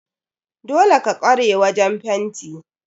Dole ka kware wajen fenti?